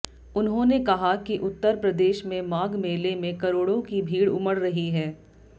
उन्होंने कहा कि उत्तर प्रदेश में माघ मेले में करोड़ों की भीड़ उमड़ रही है